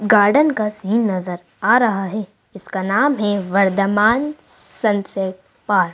Garden का scene नजर आ रहा है जिसका नाम है वर्धमान सनसेट पार्क ।